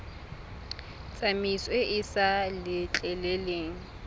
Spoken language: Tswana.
tsamaiso e e sa letleleleng